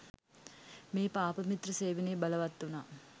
මේ පාපමිත්‍ර සේවනය බලවත් වුනා.